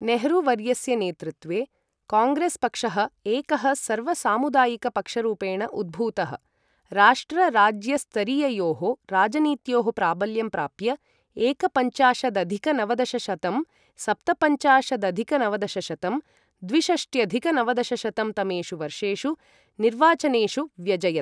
नेहरू वर्यस्य नेतृत्वे, काङ्ग्रेस् पक्षः एकः सर्वसामुदायिक पक्षरूपेण उद्भूतः, राष्ट्र राज्य स्तरीययोः राजनीत्योः प्राबल्यं प्राप्य, एकपञ्चाशदधिक नवदशशतं, सप्तपञ्चाशदधिक नवदशशतं, द्विषष्ट्यधिक नवदशशतं तमेषु वर्षेषु निर्वाचनेषु व्यजयत्।